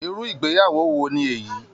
Irú ìgbéyàwó wo ni èyí!